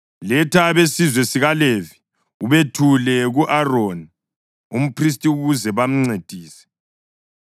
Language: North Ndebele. “Letha abesizwe sikaLevi ubethule ku-Aroni umphristi ukuze bamncedise.